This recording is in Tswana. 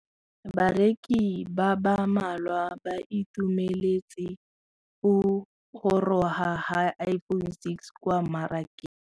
Bareki ba ba malwa ba ituemeletse go gôrôga ga Iphone6 kwa mmarakeng.